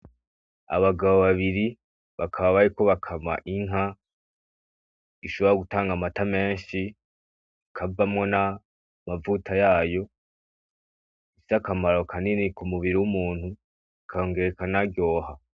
Abagabo babiri bakaba bariko bakama inka ishobora gutanga amata hakavamwo n'amavuta yayo. Ifise akamaro kanini kumubiri w'umuntu ikongera ikanaryoha.